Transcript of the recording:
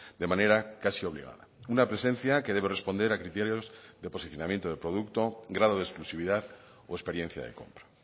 de manera casi obligada una presencia que debe responder a criterios de posicionamiento de producto grado de exclusividad o experiencia de compra